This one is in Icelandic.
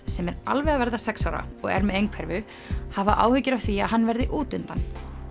sem er alveg að verða sex ára og er með einhverfu hafa áhyggjur af því að hann verði út undan